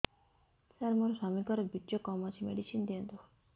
ସାର ମୋର ସ୍ୱାମୀଙ୍କର ବୀର୍ଯ୍ୟ କମ ଅଛି ମେଡିସିନ ଦିଅନ୍ତୁ